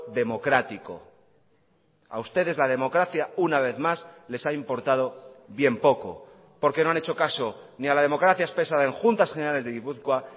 democrático a ustedes la democracia una vez más les ha importado bien poco porque no han hecho caso ni a la democracia expresada en juntas generales de gipuzkoa